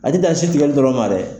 A tɛ dan sin tigɛli dɔrɔnw ma dɛ!